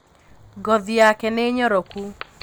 Ngothi yake nīnyoroku